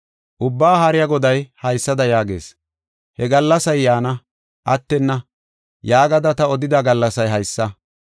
Ubbaa Haariya Goday haysada yaagees: “He gallasay yaana; attenna” yaagada ta odida gallasay haysa.